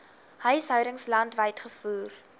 huishoudings landwyd gevoer